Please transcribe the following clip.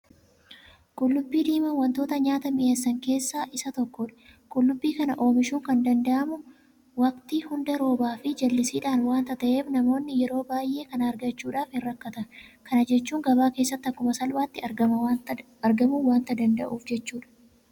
Qullubbii diimaan waantota nyaata mi'eessan keessaa isa tokkodha. Qullubbii kana oomishuun kan danda'amu waktii hunda roobaafi jallisiidhaan waanta ta'eef namoonni yeroo baay'ee kana argachuudhaaf hinrakkatan. Kana jechuun gabaa keessatti akkuma salphaatti argamuu waanta danda'uuf jechuudha.